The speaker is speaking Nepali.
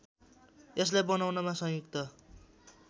यसलाई बनाउनमा संयुक्त